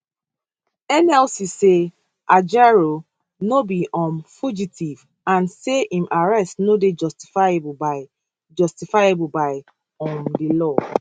nlc say ajaero no be um fugitive and say im arrest no dey justifiable by justifiable by um di law